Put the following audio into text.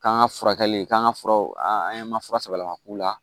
K'an ka furakɛli k'an ka furaw an ye an ma fura sama ka k'u la